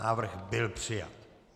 Návrh byl přijat.